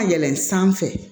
Ka yɛlɛn sanfɛ